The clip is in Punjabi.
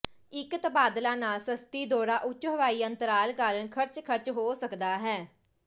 ਇੱਕ ਤਬਾਦਲਾ ਨਾਲ ਸਸਤੀ ਦੌਰਾ ਉੱਚ ਹਵਾਈ ਅੰਤਰਾਲ ਕਾਰਨ ਖਰਚ ਖਰਚ ਹੋ ਸਕਦਾ ਹੈ